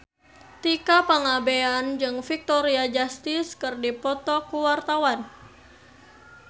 Tika Pangabean jeung Victoria Justice keur dipoto ku wartawan